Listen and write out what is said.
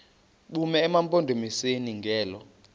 bume emampondomiseni ngelo